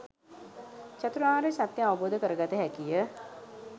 චතුරාර්ය සත්‍යය අවබෝධ කරගත හැකිය.